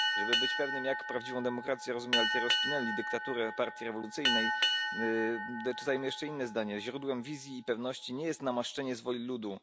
Żeby być pewnym, jak prawdziwą demokrację rozumie Altiero Spinelli dyktaturę partii rewolucyjnej dodajmy jeszcze inne zdanie Źródłem wizji i pewności nie jest namaszczenie z woli ludu.